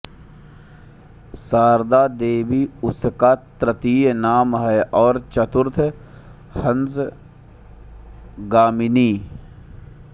शारदा देवी उनका तृतीय नाम है और चतुर्थ हंसगामिनी